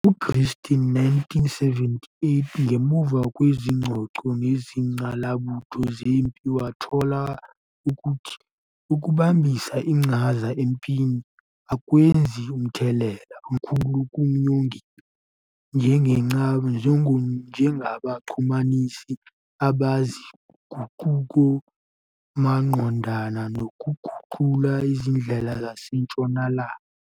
UGreenstein, 1978, ngemuva kwezingxoxo nezingqalabutho zempi wathola ukuthi ukubamba iqhaza empini akwenzi mthelela omkhulu kuNyongik, njengabaxhumanisi bezinguquko, maqondana nokuguqula izindlela zasentshonalanga.